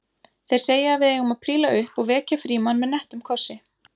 Þeir segja að við eigum að príla upp og vekja Frímann með nettum kossi